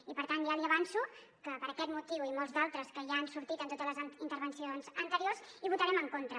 i per tant ja li avanço que per aquest motiu i molts d’altres que ja han sortit en totes les intervencions anteriors hi votarem en contra